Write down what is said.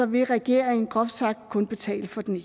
vil regeringen groft sagt kun betale for den